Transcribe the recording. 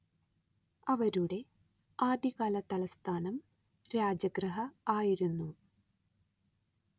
അവരുടെ ആദ്യകാലതലസ്ഥാനം രാജഗൃഹ ആയിരുന്നു